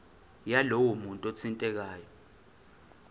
yalowo muntu othintekayo